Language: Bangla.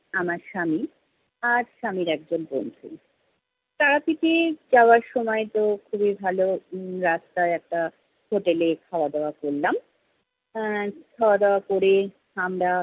আমার স্বামী আর স্বামীর একজন বন্ধু। তারাপীঠে যাওয়ার সময় তো খুবই ভালো উম রাস্তায় একটা হোটেলে খাওয়া দাওয়া করলাম। আহ খাওয়া দাওয়া করে আমরা-